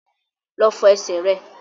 Lọ fọ ẹsẹ̀ rẹ!